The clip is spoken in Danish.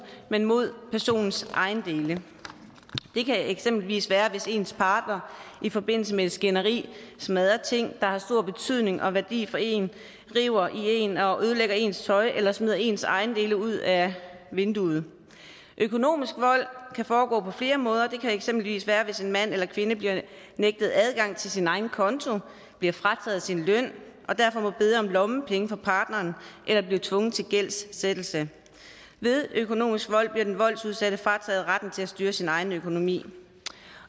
men mod personens ejendele det kan eksempelvis være hvis ens partner i forbindelse med et skænderi smadrer ting der har stor betydning og værdi for en river i en og ødelægger ens tøj eller smider ens ejendele ud af vinduet økonomisk vold kan foregå på flere måder det kan eksempelvis være hvis en mand eller kvinde bliver nægtet adgang til sin egen konto bliver frataget sin løn og derfor må bede om lommepenge fra partneren eller bliver tvunget til gældsættelse ved økonomisk vold bliver den voldsudsatte frataget retten til at styre sin egen økonomi